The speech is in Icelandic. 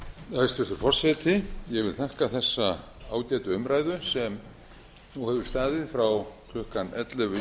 forseti ég vil þakka þessa ágætu umræðu sem nú hefur staðið frá klukkan ellefu í